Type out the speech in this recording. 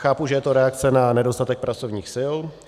Chápu, že je to reakce na nedostatek pracovních sil.